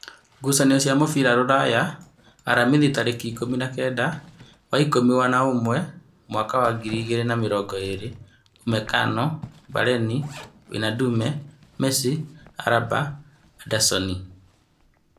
Ngucanio cia mũbira Rūraya Aramithi tarĩki ikũmi na-kenda wa ikũmi na-ũmwe mwaka wa ngiri igĩrĩ na mĩrongo ĩrĩ: Umekano, Bareni, Wĩnadume, Mesi, Araba, Andasoni